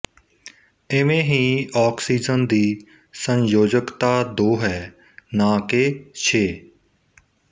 ਇਵੇ ਹੀ ਆਕਸੀਜਨ ਦੀ ਸੰਯੋਜਕਤਾ ਦੋ ਹੈ ਨਾਂ ਕਿ ਛੇ